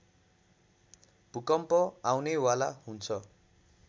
भूकम्प आउनेवाला हुन्छ